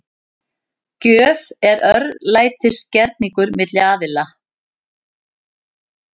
Gjöf er örlætisgerningur milli aðila.